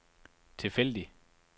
tilfældig